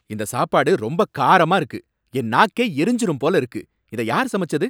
இந்த சாப்பாடு ரொம்ப காரமா இருக்கு, என் நாக்கே எரிஞ்சிரும் போல இருக்கு. இதை யார் சமச்சது?